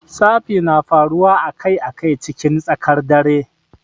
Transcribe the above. Tsafi na faruwa a Kai a Kai cikin tsakar dare.